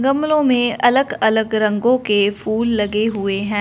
गमलों में अलग-अलग रंगों के फूल लगे हुए है।